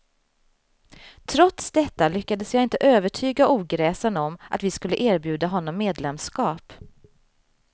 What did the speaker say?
Trots detta lyckades jag inte övertyga ogräsen om att vi skulle erbjuda honom medlemskap.